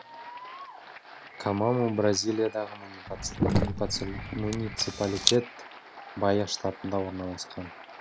камаму бразилиядағы муниципалитет баия штатында орналасқан